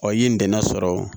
Wa i ye ntɛnɛn sɔrɔ